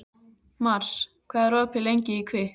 Mars, hvað er opið lengi í Kvikk?